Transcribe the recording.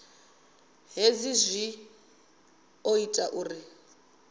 hezwi zwi ḓo ita uri